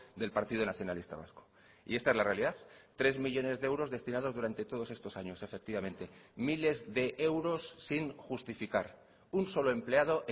del partido nacionalista vasco y esta es la realidad tres millónes de euros destinados durante todos estos años efectivamente miles de euros sin justificar un solo empleado